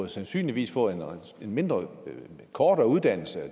sandsynligvis få en mindre og kortere uddannelse